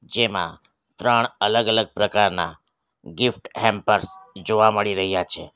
જેમાં ત્રણ અલગ અલગ પ્રકારના ગિફ્ટ હેમ્પર્સ જોવા મળી રહ્યા છે.